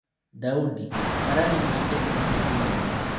Daudi: Marani nĩ ĩ kĩ te ihĩ tia inene.